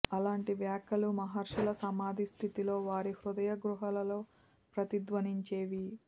అలాంటి వాక్యాలు మహర్షుల సమాధి స్థితిలో వారి హృదయ గుహలలో ప్రతిధ్వనించేవి